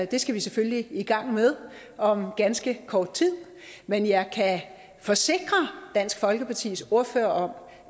det skal vi selvfølgelig i gang med om ganske kort tid men jeg kan forsikre dansk folkepartis ordfører